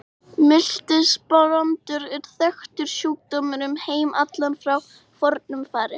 Miltisbrandur er þekktur sjúkdómur um heim allan frá fornu fari.